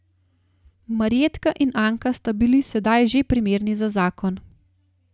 Marjetka in Anka sta bili sedaj že primerni za zakon.